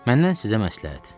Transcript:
Məndən sizə məsləhət.